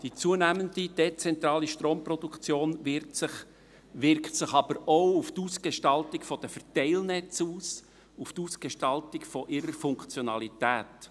Die zunehmende dezentrale Stromproduktion wirkt sich aber auch auf die Ausgestaltung der Verteilnetze aus, auf die Ausgestaltung ihrer Funktionalität.